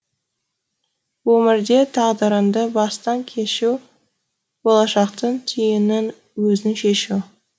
өмірде тағдырыңды бастан кешу болашақтың түйінін өзің шешу